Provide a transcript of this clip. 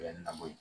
na b'o ye